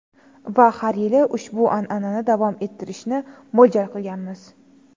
Va har yili ushbu an’anani davom ettirishni mo‘ljal qilganmiz.